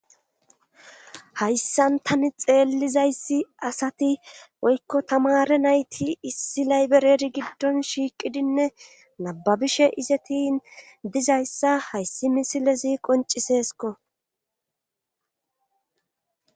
Hayssan tani xeellizayssi asati woykko tamare nayti issi laybereri giddon shiiqidinne nababishe izetin dizayssa hayssi misilezi qoncisesko.